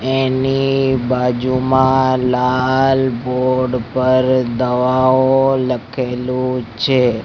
એની બાજુમાં લાલ બોર્ડ પર દવાઓ લખેલુ છે.